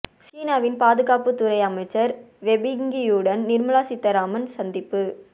சீனாவின் பாதுகாப்பு துறை அமைச்சர் வே பெங்கியுடன் நிர்மலா சீதாராமன் சந்திப்பு